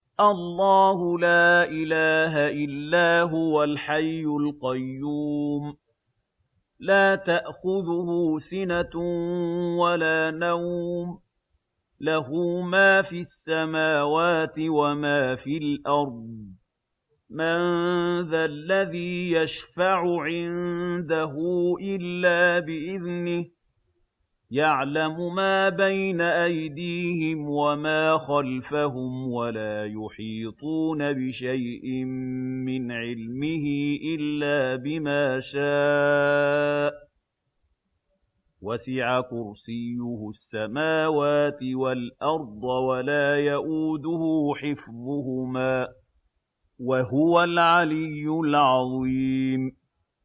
اللَّهُ لَا إِلَٰهَ إِلَّا هُوَ الْحَيُّ الْقَيُّومُ ۚ لَا تَأْخُذُهُ سِنَةٌ وَلَا نَوْمٌ ۚ لَّهُ مَا فِي السَّمَاوَاتِ وَمَا فِي الْأَرْضِ ۗ مَن ذَا الَّذِي يَشْفَعُ عِندَهُ إِلَّا بِإِذْنِهِ ۚ يَعْلَمُ مَا بَيْنَ أَيْدِيهِمْ وَمَا خَلْفَهُمْ ۖ وَلَا يُحِيطُونَ بِشَيْءٍ مِّنْ عِلْمِهِ إِلَّا بِمَا شَاءَ ۚ وَسِعَ كُرْسِيُّهُ السَّمَاوَاتِ وَالْأَرْضَ ۖ وَلَا يَئُودُهُ حِفْظُهُمَا ۚ وَهُوَ الْعَلِيُّ الْعَظِيمُ